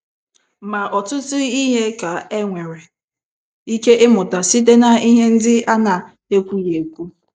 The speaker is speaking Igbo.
Ma ọtụtụ ihe ka e nwere ike ịmụta site na ihe ndị ana-ekwughị ekwu